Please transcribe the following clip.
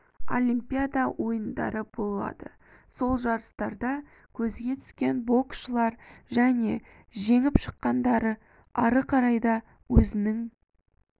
олимпиада ойындары болады сол жарыстарда көзге түскен боксшылар және жеңіп шыққандар ары қарай да өзінің